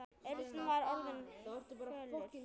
Örn var orðinn fölur.